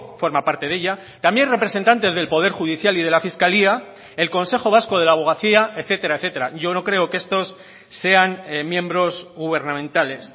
forma parte de ella también representantes del poder judicial y de la fiscalía el consejo vasco de la abogacía etcétera etcétera yo no creo que estos sean miembros gubernamentales